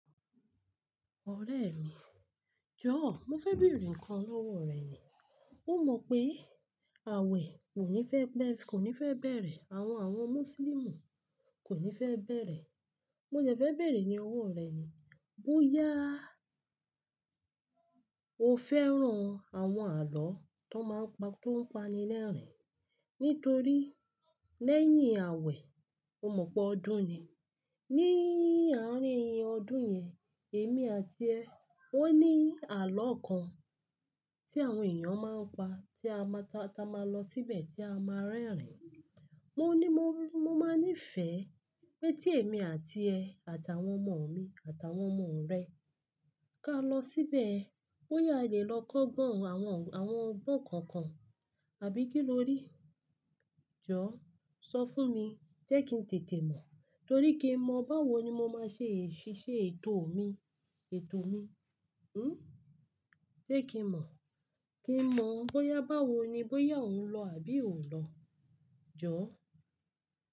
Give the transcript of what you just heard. Ọ̀rẹ́ mi, jọ̀ọ́ mo fẹ́ bèèrè ǹkan lọ́wọ́ rẹ ni. Ó mọ pé àwẹ̀ kò ní fẹ́ bẹ̀rẹ̀, àwọn, àwọn Mùsùlùmí kò ní fẹ́ bẹ̀rẹ̀. Mo dẹ̀ fẹ́ bèèrè ní owó rẹ ni, bóyá o fẹ́ran àwọn àlọ́ tó máa ń pa, tó ń pani lẹ́rìn-ín? Nítorí lẹ́yìn àwẹ̀, o mọ̀ po ọdún ni. Ni àárín ọdún yẹn, èmi àti ẹ, ó ní àlọ́ kan tí àwọn èèyàn máa ń pa tí a máa ta, tí a máa lọ síbẹ̀ tí a máa rẹ́rìn-ín. Mo ní mo máa ní ìfẹ́ pé tí èmi àti ẹ àtàwọn ọmọ mi àtàwọn ọmọ rẹ ká lọ síbẹ̀ bóyá a lè lọ kọ́gbọn àwọn, àwọn ọgbọ́n kankan àbí kí ló rí? Jọ̀ọ́ sọ fún mi jẹ́ kí ń tètè mọ̀. Torí kí mọ̀ báwo ni mo máa ṣe ṣí ṣe ètò mi, ètò mi. Hmm? Jẹ́ kí mọ̀, kí mọ̀ bóyá báwo ni, bóyá òun lọ àbí òún lọ. Jọ̀ọ́.